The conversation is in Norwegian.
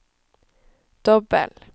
dobbel